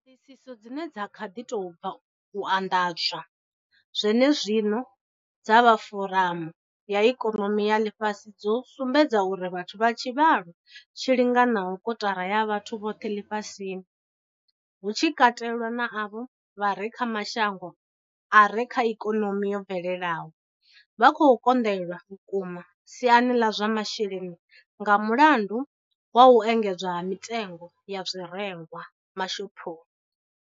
Ṱhoḓisiso dzine dza kha ḓi tou bva u anḓadzwa zwenezwino dza vha foramu ya ikonomi ya ḽifhasi dzo sumbedza uri vhathu vha tshivhalo tshi linganaho kotara ya vhathu vhoṱhe ḽifhasini, hu tshi katelwa na avho vha re kha mashango a re na ikonomi yo bvelelaho, vha khou konḓelwa vhukuma siani ḽa zwa masheleni nga mulandu wa u engedzea ha mitengo ya zwirengwa mashophoni.